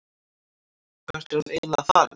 Hvert er hann eiginlega farinn?